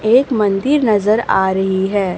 एक मंदिर नजर आ रही है।